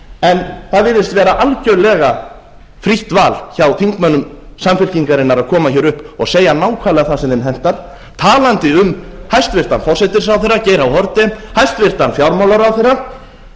en það virðist vera algjörlega frítt val hjá þingmönnum samfylkingarinnar að koma hér upp og segja nákvæmlega það sem þeim hentar talandi um hæstvirtan forsætisráðherra geir h haarde hæstvirtur fjármálaráðherra